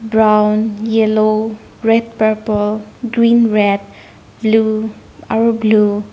Brown yellow red purple greenred blue aro blue .